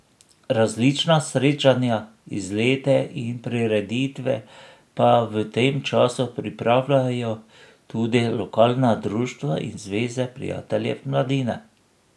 Različna srečanja, izlete in prireditve pa v tem času pripravijo tudi lokalna društva in zveze prijateljev mladine.